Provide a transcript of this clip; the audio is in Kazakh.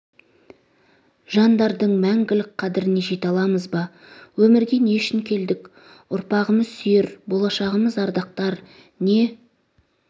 жандардың мәңгілік қадіріне жете аламыз ба өмірге не үшін келдік ұрпағымыз сүйер болашағымыз ардақтар не